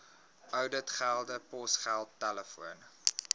ouditgelde posgeld telefoon